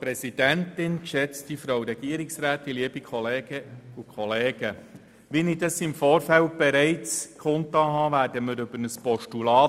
Wie ich bereits im Vorfeld kundgetan habe, sprechen wir über ein Postulat.